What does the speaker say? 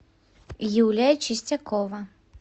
юлия чистякова